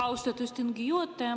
Austatud istungi juhataja!